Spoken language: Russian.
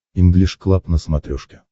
инглиш клаб на смотрешке